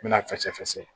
N bɛna fɛɛfɛsɛ